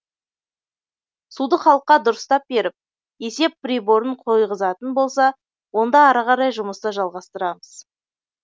суды халыққа дұрыстап беріп есеп приборын қойғызатын болса онда ары қарай жұмысты жалғастырамыз